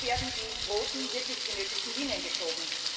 Wo werden die roten, wirklich benötigten Linien gezogen?